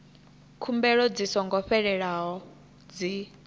khumbelo dzi songo fhelelaho dzi